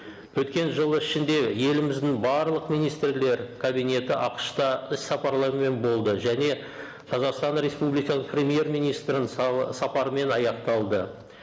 өткен жыл ішінде еліміздің барлық министрлер кабинеті ақш та іс сапарлармен болды және қазақстан республика премьер министрінің сапарымен аяқталды